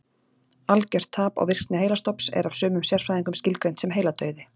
Algjört tap á virkni heilastofns er af sumum sérfræðingum skilgreint sem heiladauði.